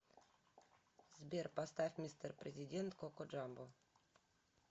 сбер поставь мистер президент коко джамбо